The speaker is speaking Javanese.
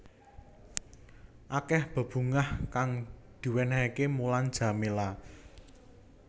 Akeh bebungah kang diwénéhaké Mulan Jameela